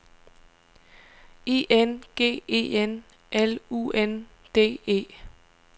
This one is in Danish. I N G E N L U N D E